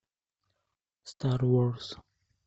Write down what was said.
стар ворс